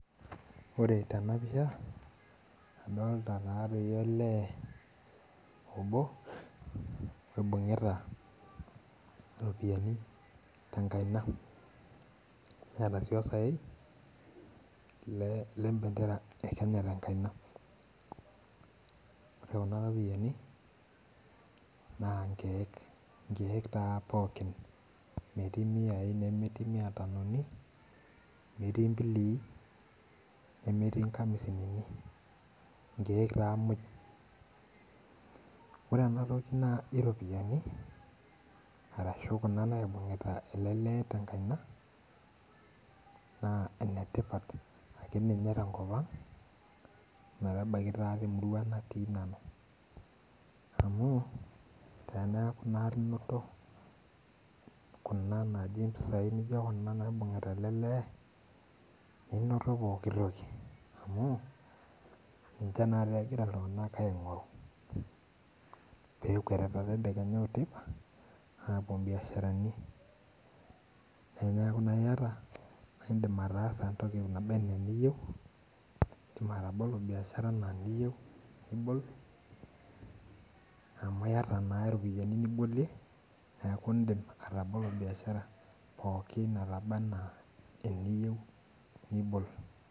Ore tenapisha, adolta natoi olee obo oibung'ita iropiyiani tenkaina, neeta ai esaei lebendera e Kenya tenkaina. Ore kuna ropiyiani, naa nkeek nkeek taa pookin. Metii miai nemetii miatanoni, metii mbilii nemetii nkamisinini. Nkeek taa moj. Ore enatoki naji ropiyiani, arashu kuna naibung'ita ele lee tenkaina, naa inetipat akeninye tenkop ang metabaiki taa temurua natii nanu. Amu, teneeku nati inoto kuna naji mpisai nijo kuna naibung'ita ele lee, ninoto pooki toki. Amu, ninche nate egira iltung'anak aing'oru. Pekuetita tedekenya oteipa, apuo biasharani. Teneeku naa iyata na idim ataasa entoki naba enaa eniyieu, idim atabolo biashara enaa eniyieu nibol, amu yata naa ropiyiani nibolie, neeku idim atabolo biashara pookin enaba enaa pookin eniyieu nibol.